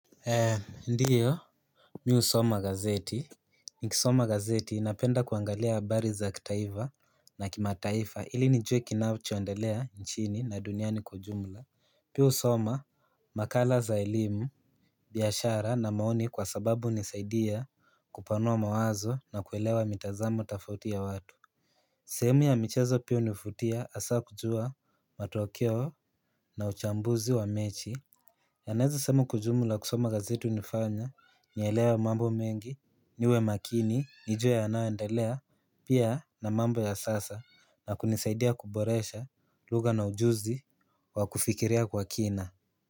Ndiyo mi husoma gazeti Nikisoma gazeti napenda kuangalia habari za kitaifa na kimataifa ili nijue kinachoendelea nchini na duniani kwa jumla Pia husoma makala za elimu biashara na maoni kwa sababu hunisaidia kupanua mawazo na kuelewa mitazamo tofauti ya watu sehemu ya michezo pia hunivutia hasa kujua matokeo na uchambuzi wa mechi na naeza sema kwa ujumla kusoma gazeti hunifanya, nielewe mambo mengi, niwe makini, nijue yanayoendelea, pia na mambo ya sasa, na kunisaidia kuboresha, lugha na ujuzi, wa kufikiria kwa kina.